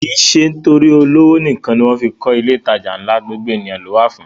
Kìí ṣe torí olówó nìkan ni wọ́n fí ń kọ ilé ìtajà ńlá, gbogbo ènìyàn ló wà fún